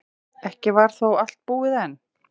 Ekki var þó allt búið enn.